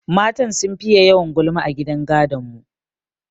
Matan sun fiye yawan gulma a gidan gadon mu.